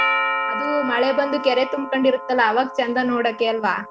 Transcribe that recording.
ಅದು ಮಳೆ ಬಂದು ಕೆರೆ ತುಂಬ್ಕೊಂಡಿರತ್ತಲ್ಲ ಅವಾಗ್ ಚಂದ ನೋಡೋಕೆ ಅಲ್ವಾ